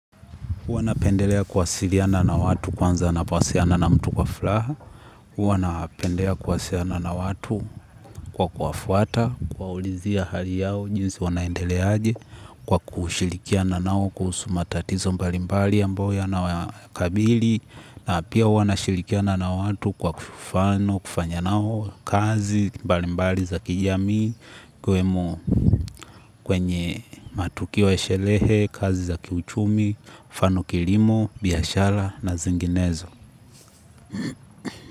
Huwa napendelea kuwasiliana na watu kwanza ninapowasiliana na mtu kwa furaha. Huwa napendea kuwasiliana na watu kwa kuwafuata, kuwaulizia hali yao, jinsi wanaendelea aje kwa kushirikiana nao kuhusu matatizo mbalimbali ambayo yanawakabili. Na pia huwa nashirikiana na watu kwa kufano, kufanya nao kazi mbalimbali za kijamii, kwenye matukio ya sherehe, kazi za kiuchumi, mfano kilimo, biashara na zinginezo.